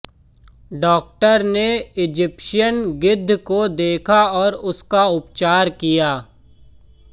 doctor ने Egyptian गिद्ध को देखा और उसका उपचार किया